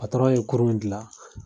ye kurun gilan.